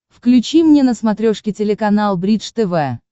включи мне на смотрешке телеканал бридж тв